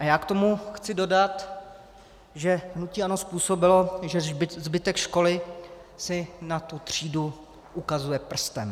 A já k tomu chci dodat, že hnutí ANO způsobilo, že zbytek školy si na tu třídu ukazuje prstem.